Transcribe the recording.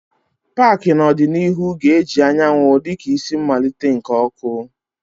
paaki n'ọdịnihu ga-eji anyanwụ dị ka isi mmalite nke oku.